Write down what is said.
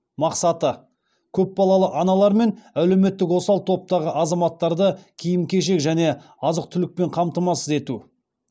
мақсаты көпбалалы аналар мен әлеуметтік осал топтағы азаматтарды киім кешек және азық түлікпен қамтамасыз ету